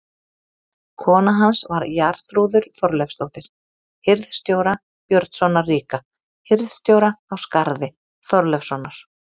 Kona hans var Jarþrúður Þorleifsdóttir hirð- stjóra, Björnssonar ríka, hirðstjóra á Skarði, Þorleifssonar.